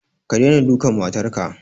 Ka daina dukan matar ka!